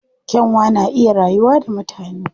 Kyanwa na iya rayuwa da mutane.